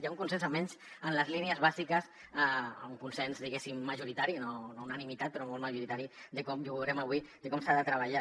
hi ha un consens almenys en les línies bàsiques un consens diguéssim majoritari no unanimitat però molt majoritari i ho veurem avui de com s’ha de treballar